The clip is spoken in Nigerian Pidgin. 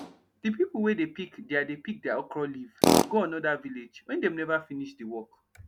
de pipo wey dey pick deir dey pick deir okro leave go anoda village wen dem neva finish de work